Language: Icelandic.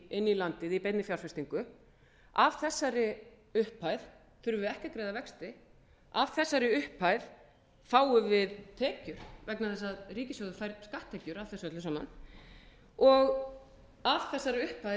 inn í landið í beinni fjárfestingu af þessara upphæð þurfum við ekki að greiða vexti af þessari upphæð fáum við tekjur vegna þess að ríkissjóður fær skatttekjur af þessu öllu saman og af þessari upphæð